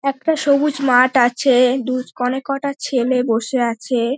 একটা সবুজ মাঠ আছে দু অনেক কটা ছেলে বসে আছে।